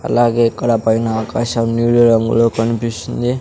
అలాగే ఇక్కడ పైన ఆకాశం నీలి రంగులో కన్పిస్తుంది.